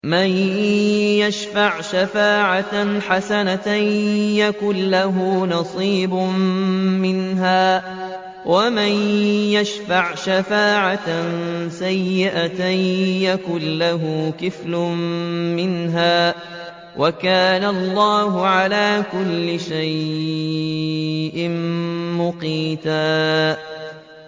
مَّن يَشْفَعْ شَفَاعَةً حَسَنَةً يَكُن لَّهُ نَصِيبٌ مِّنْهَا ۖ وَمَن يَشْفَعْ شَفَاعَةً سَيِّئَةً يَكُن لَّهُ كِفْلٌ مِّنْهَا ۗ وَكَانَ اللَّهُ عَلَىٰ كُلِّ شَيْءٍ مُّقِيتًا